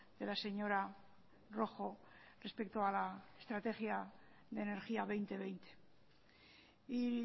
de la señora rojo respecto a la estrategia de energía dos mil veinte y